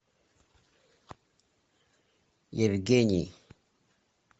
евгений